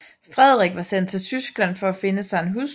Frederik var sendt til Tyskland for at finde sig en hustru